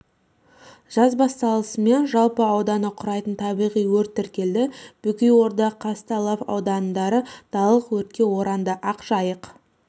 жаз басталысымен жалпы ауданы га құрайтын табиғи өрт тіркелді бөкейорда казталов аудандары далалық өртке оранды ақжайық